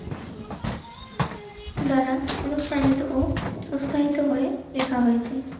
দ্বারা অনুষ্ঠানিত ও প্রসারিত হয়ে লেখা হয়েছে.